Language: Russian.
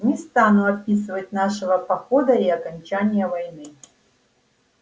не стану описывать нашего похода и окончания войны